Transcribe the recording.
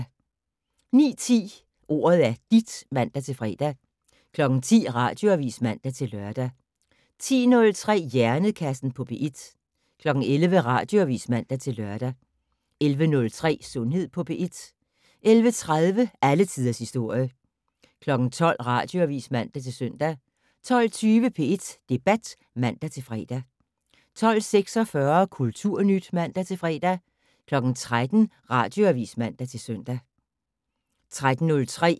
09:10: Ordet er dit (man-fre) 10:00: Radioavis (man-lør) 10:03: Hjernekassen på P1 11:00: Radioavis (man-lør) 11:03: Sundhed på P1 11:30: Alle tiders historie 12:00: Radioavis (man-søn) 12:20: P1 Debat (man-fre) 12:46: Kulturnyt (man-fre) 13:00: Radioavis (man-søn)